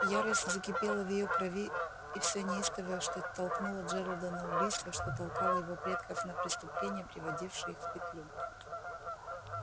ярость закипела в её крови и всё неистовое что толкнуло джералда на убийство что толкало его предков на преступления приводившие их в петлю